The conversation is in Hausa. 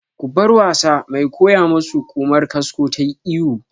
Ku bar wasa! Mai koya mu su Ƙumar kasko tayi iyo